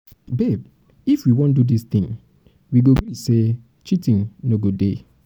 babe if if we wan do this thing we go gree say cheating no go dey